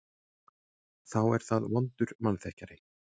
Þá er það vondur mannþekkjari.